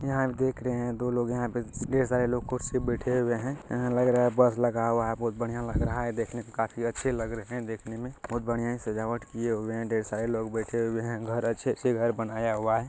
यहां देख रहे हैं दो लोग हैंयहां ढेर सारे लोग कुर्सी पर बैठे हुए हैं यहाँ लग रहा है बस लगा हुआ है बहुत बढ़िया लग रहा है देखने में देखने में काफी अच्छे लग रहे हैं देखने में बहुत बढ़िया सजावट किए हुए हैं ढेर सारे लोग बैठे हुए हैं अच्छे से घर बनाया हुआ है।